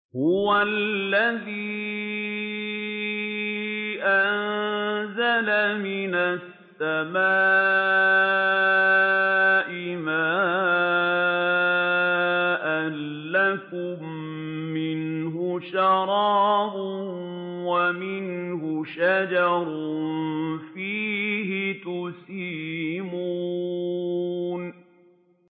هُوَ الَّذِي أَنزَلَ مِنَ السَّمَاءِ مَاءً ۖ لَّكُم مِّنْهُ شَرَابٌ وَمِنْهُ شَجَرٌ فِيهِ تُسِيمُونَ